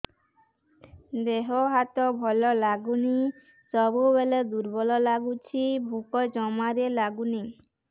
ଦେହ ହାତ ଭଲ ଲାଗୁନି ସବୁବେଳେ ଦୁର୍ବଳ ଲାଗୁଛି ଭୋକ ଜମାରୁ ଲାଗୁନି